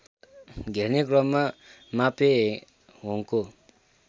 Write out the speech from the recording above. घेर्ने क्रममा मापेहोङको